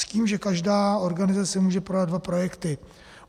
S tím, že každá organizace může podat dva projekty.